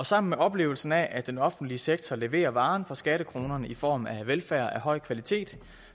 sammen med oplevelsen af at den offentlige sektor leverer varen for skattekronerne i form af velfærd af høj kvalitet